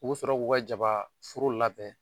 U bɛ sɔrɔ k'u ka jaba foro labɛn.